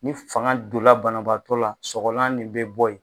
Ni fanga donla banabaatɔ la sɔgɔlan nin bɛ bɔ yen.